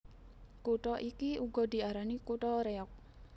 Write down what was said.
Kutha iki uga diarani kutha Réyog